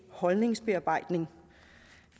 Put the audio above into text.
holdningsbearbejdning